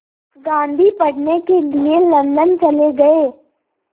गांधी पढ़ने के लिए लंदन चले गए